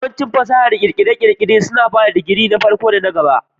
Yawancin fasahar kere-kere suna ba da digiri na farko da na gaba